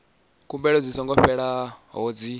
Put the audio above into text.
khumbelo dzi songo fhelelaho dzi